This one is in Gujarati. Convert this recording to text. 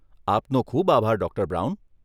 આપનો ખૂબ આભાર, ડોક્ટર બ્રાઉન.